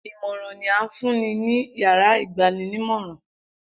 Imọran ni a fun ni yárà igbaninimọran.